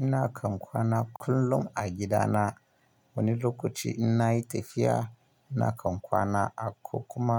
Ina kan kwana kullum a gidana. Wani lokaci in na yi tafiya, ina kan kwana a ko kuma